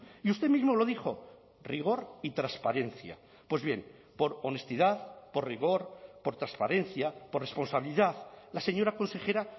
y usted mismo lo dijo rigor y transparencia pues bien por honestidad por rigor por transparencia por responsabilidad la señora consejera